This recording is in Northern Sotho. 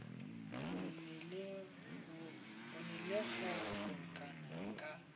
na le go kgobokana ka